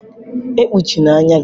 E kpuchina anya gi.